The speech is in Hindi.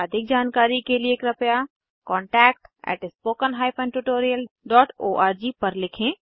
अधिक जानकारी के लिए कृपया contactspoken tutorialorg पर लिखें